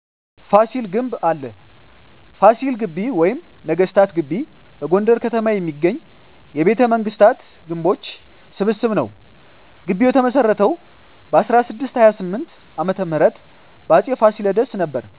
ፋሲል ግንብ አለ ፋሲል ግቢ ወይም ነገስታት ግቢ በጎንደር ከተማ የሚገኝ የቤተ መንግስታት ግንቦች ስብስብ ነዉ ግቢዉ የተመሰረተዉ በ1628ዓ.ም በአፄ ፋሲለደስ ነበር